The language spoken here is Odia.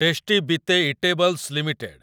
tasty bite eatables limited